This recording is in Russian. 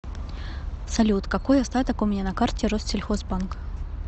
салют какой остаток у меня на карте россельхозбанка